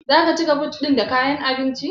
Zaka cika but ɗin da kayan abinci?